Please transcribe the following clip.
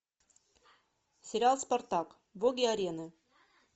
сериал спартак боги арены